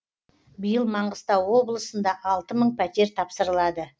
биыл маңғыстау облысында алты мың пәтер тапсырылады